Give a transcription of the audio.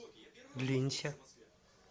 линься